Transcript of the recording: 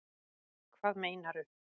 Hvað meinaru